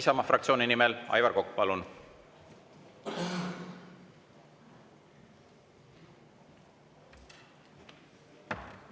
Isamaa fraktsiooni nimel Aivar Kokk, palun!